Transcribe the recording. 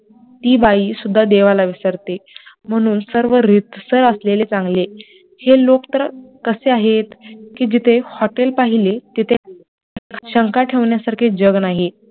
ती बाई सुद्धा देवाला विसरते म्हणून सर्व रीतसर असलेले चांगले हे लोक तर कसे आहेत कि जिथे hotel पाहिले तिथेच, शंका ठेवण्यासारखे जग नाही